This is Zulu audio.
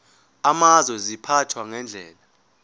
amazwe ziphathwa ngendlela